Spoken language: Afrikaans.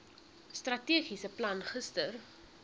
strategiese plan gister